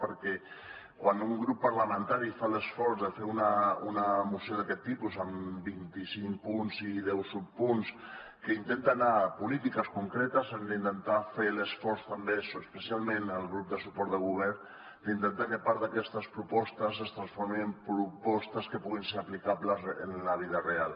perquè quan un grup parlamentari fa l’esforç de fer una moció d’aquest tipus amb vint i cinc punts i deu subpunts que intenta anar a polítiques concretes hem d’intentar fer l’esforç també especialment el grup de suport de govern d’intentar que part d’aquestes propostes es transformin en propostes que puguin ser aplicables en la vida real